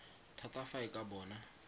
thata fa e ka bona